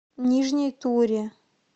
нижней туре